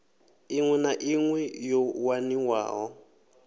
iṋwe na iṋwe yo waniwaho